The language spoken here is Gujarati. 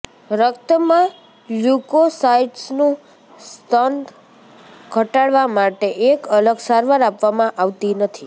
રક્તમાં લ્યુકોસાયટ્સનું સ્તર ઘટાડવા માટે એક અલગ સારવાર આપવામાં આવતી નથી